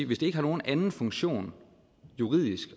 hvis det ikke har nogen anden funktion juridisk